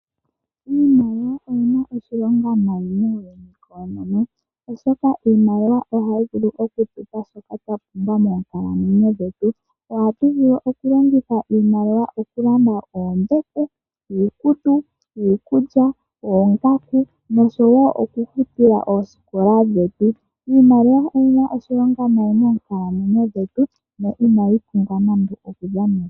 Iimaliwa oyi na oshilonga nayi muuyuni koonono oshoka iimaliwa ohayi vulu okutupa shaashoka twa pumbwa moonkalamweyo dhetu. Ohatu vulu okulongitha iimaliwa okulanda oombete, iikutu, iikulya, oongaku noshowo okufutila oosikola dhetu. Iimaliwa oyi na oshilonga nayi moonkalamweyo dhetu, no inayi pumbwa nande okudhanenwa.